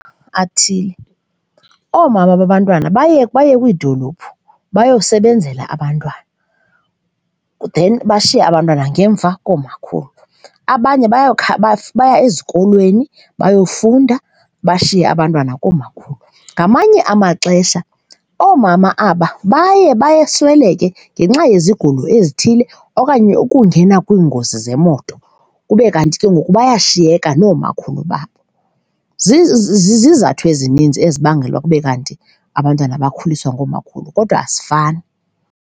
athile. Oomama babantwana baye baye kwiidolophu bayosebenzela abantwana then bashiye abantwana ngemva koomakhulu. Abanye bayokha baye ezikolweni bayofunda bashiye abantwana koomakhulu. Ngamanye amaxesha oomama aba baye basweleke ngenxa yezigulo ezithile okanye ukungena kwiingozi zemoto kube kanti ke ngoku bayashiyeka noomakhulu babo. Zizizathu ezininzi ezibangela kube kanti abantwana bakhuliswa ngoomakhulu, kodwa asifani.